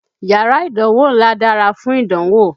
Yárà ìdánwó ńlá dárá fún ìdánwò.